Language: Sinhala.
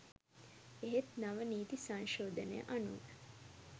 එහෙත් නව නීති සංශෝධනය අනුව